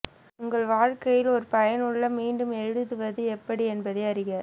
உங்கள் வாழ்க்கையில் ஒரு பயனுள்ள மீண்டும் எழுதுவது எப்படி என்பதை அறிக